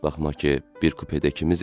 Baxma ki, bir kupədə ikimizik.